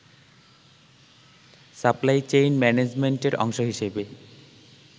supply chain ম্যানেজমেন্টের অংশ হিসেবে